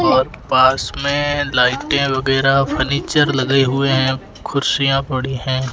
और पास में लाइटे वगैरा फर्नीचर लगे हुए हैं कुर्सियां पड़ी हैं।